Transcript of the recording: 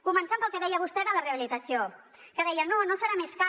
començant pel que deia vostè de la rehabilitació que deia no no serà més car